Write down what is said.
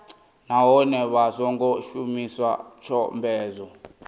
nahone vha songo shumisa tshomedzo